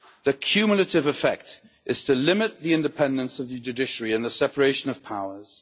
Their cumulative effect is to limit the independence of the judiciary and the separation of powers.